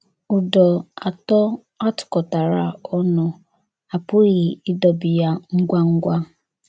“ Ụdọ atọ a tụkọtara ọnụ, a pụghị ịdọbi ya ngwa ngwa. ”